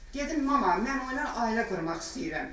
Dedim mama, mən onunla ailə qurmaq istəyirəm.